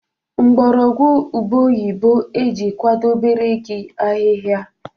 mgbọrọgwụ ube oyibo e ji kwadebere gị ahịhịa